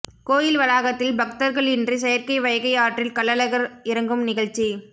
கோயில் வளாகத்தில் பக்தர்களின்றி செயற்கை வைகை ஆற்றில் கள்ளழகர் இறங்கும் நிகழச்சி